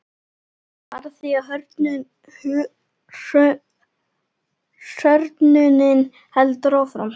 Bara því að hrörnunin heldur áfram.